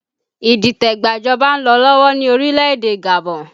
Idite gba ìjọba ń lọ lọ́wọ́ ní orílẹ̀ èdè Gabon